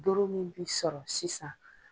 Doro min bi sɔrɔ sisan